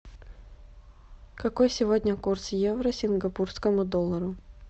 какой сегодня курс евро к сингапурскому доллару